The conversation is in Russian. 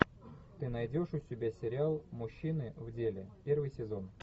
ты найдешь у себя сериал мужчины в деле первый сезон